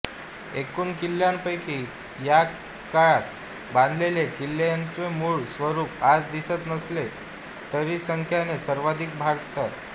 एकूण किल्ल्यांपैकी ह्या काळात बांधलेले किल्लेत्यांचे मूळ स्वरूप आज दिसत नसले तरीसंख्येने सर्वाधिक भरतील